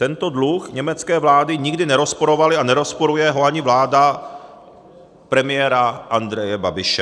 Tento dluh německé vlády nikdy nerozporovaly a nerozporuje ho ani vláda premiéra Andreje Babiše.